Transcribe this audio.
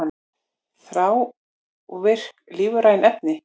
Þrávirk lífræn efni